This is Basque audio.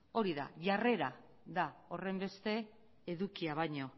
hori da jarrera da horrenbeste edukia baino